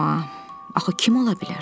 Amma axı kim ola bilər?